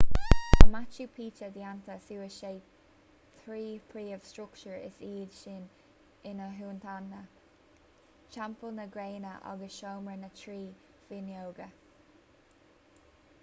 tá machu picchu déanta suas de thrí phríomh-struchtúr is iad sin intihuatana teampall na gréine agus seomra na trí fhuinneoige